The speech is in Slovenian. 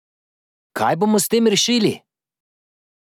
Kaj bomo s tem rešili?